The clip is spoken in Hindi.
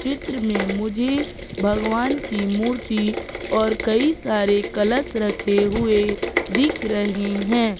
चित्र में मुझे भगवान की मूर्ति और कई सारे कलश रखे हुए दिख रहे है।